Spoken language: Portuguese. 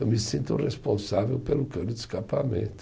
Eu me sinto responsável pelo cano de escapamento.